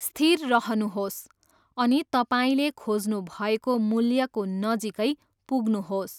स्थिर रहनुहोस् अनि तपाईँले खोज्नुभएको मूल्यको नजिकै पुग्नुहोस्।